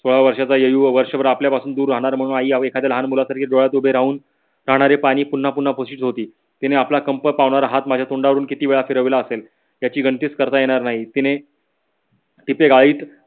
सोळा वर्षाचा वर्षभर आपल्या पासून दूर राहणार म्हणून आई एखाद्या लहान मुलासारखी डोळ्यात उभे राहून राहणारे पानी पुन्हा पुन्हा पुसत होती. तिने आपला कंप पवणारा हाथ माझ्या तोंडावरून कीती वेळा फिरविला आंसेल. याची गणतीच करता येणार नाही. तिने तिचे गळीत